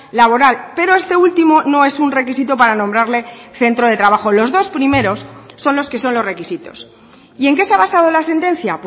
laboral pero este último no es un requisito para nombrarle centro de trabajo los dos primeros son los que son los requisitos y en qué se ha basado la sentencia